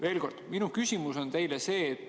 " Veel kord minu küsimus teile.